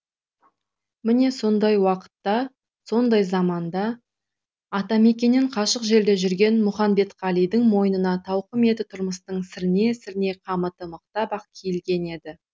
міне сондай уақытта сондай заманда атамекеннен қашық жерде жүрген мұханбетқалидың мойнына тауқыметті тұрмыстың сірне сірне қамыты мықтап ақ киілген еді